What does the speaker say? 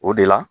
O de la